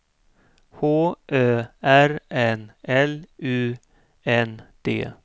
H Ö R N L U N D